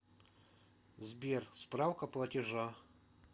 сбер справка платежа